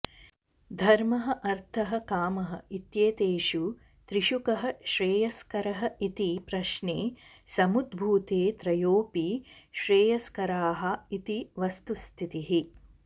धर्मः अर्थः कामः इत्येतेषु त्रिषु कः श्रेयस्करः इति प्रश्ने समुद्भूते त्रयोऽपि श्रेयस्कराः इति वस्तुस्थितिः